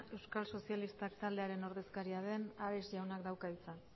euskal sozialistak taldearen ordezkaria den ares jaunak dauka hitza